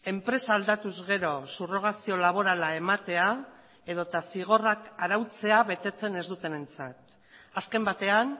enpresa aldatuz gero subrogazio laborala ematea edota zigorrak arautzea betetzen ez dutenentzat azken batean